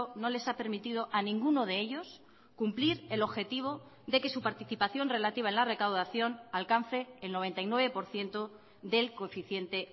no les ha permitido a ninguno de ellos cumplir el objetivo de que su participación relativa en la recaudación alcance el noventa y nueve por ciento del coeficiente